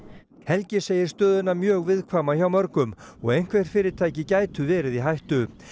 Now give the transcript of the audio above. helgi segir stöðuna mjög viðkvæma hjá mörgum og einhver fyrirtæki geti verið í hættu